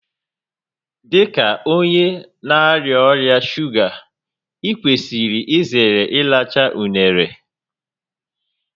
Dị ka onye na-arịa ọrịa shuga, ị kwesịrị izere ịracha unere